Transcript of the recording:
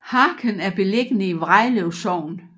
Harken er beliggende i Vrejlev Sogn